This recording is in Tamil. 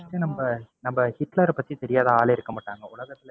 நம்ப நம்ப ஹிட்லர பத்தி தெரியாத ஆளே இருக்கமாட்டாங்க, உலகத்துல